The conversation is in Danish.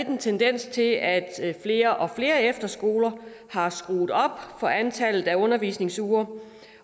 en tendens til at flere og flere efterskoler har skruet op for antallet af undervisningsuger